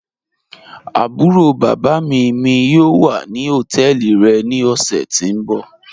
Àbúró bábá mí mí yóò wà ní ọtẹ́ẹlí rẹ̀ ní ọ̀ṣẹ̀ tí n bọ̀.